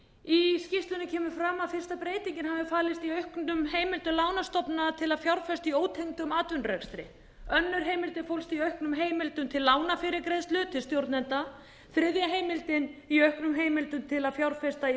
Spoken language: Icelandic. í skýrslunni kemur fram að fyrsta breytingin hafi falist í auknum heimildum lánastofnana til að fjárfesta í ótengdum atvinnurekstri önnur heimildin fólst í auknum heimildum til lánafyrirgreiðslu til stjórnenda þriðja heimildin í auknum heimildum til að fjárfesta í